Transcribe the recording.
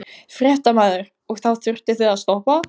Fréttamaður: Og þá þurftuð þið að stoppa?